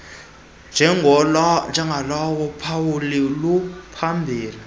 njengolona phawu luphambili